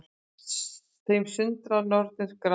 Þeim sundra nornir gramar